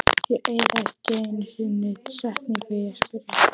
Ég eyði ekki einu sinni setningu í að spyrja